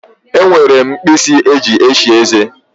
E nwere m mkpisi eji eshi eze.